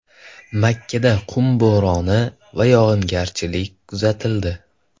Makkada qum bo‘roni va yog‘ingarchilik kuzatildi .